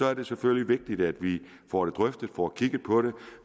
er det selvfølgelig vigtigt at vi får det drøftet får kigget på det